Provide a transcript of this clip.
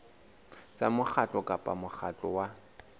tsa mokgatlo kapa mokgatlo wa